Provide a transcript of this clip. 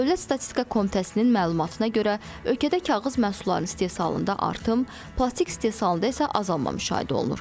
Dövlət statistika komitəsinin məlumatına görə ölkədə kağız məhsullarının istehsalında artım, plastik istehsalında isə azalma müşahidə olunur.